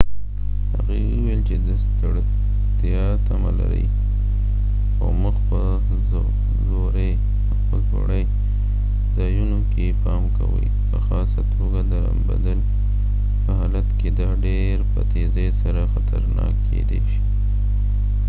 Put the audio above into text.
هغوي وويل چې د ستړتیا تمه لرۍ او مخ په ځوړی ځایونو کې پام کوۍ په خاصه توګه د لمبدل په حالت کې دا ډیر په تیزۍ سره خطرناک کېدای شي